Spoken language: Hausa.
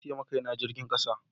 Na sayi ma Kai na jirgin kasa.